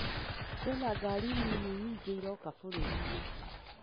Kwĩna ngari nini nyingĩ iroka bũrũri-inĩ